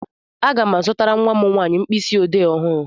Aga m azụtara nwa m nwanyị mkpịsị ọdee ọhụrụ.